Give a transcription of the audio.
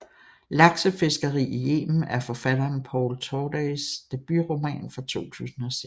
Laksefiskeri i Yemen er forfatteren Paul Tordays debutroman fra 2006